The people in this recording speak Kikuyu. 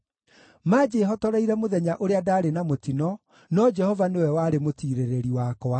Manjĩhotoreire mũthenya ũrĩa ndaarĩ na mũtino, no Jehova nĩwe warĩ mũtiirĩrĩri wakwa.